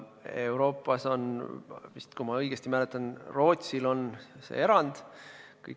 Euroopas on vist, kui ma õigesti mäletan, üks erand, see on Rootsi.